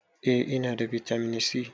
Eh ina da bitamin si